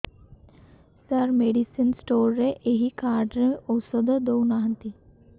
ସାର medicine store ରେ ଏଇ card ରେ ଔଷଧ ଦଉନାହାନ୍ତି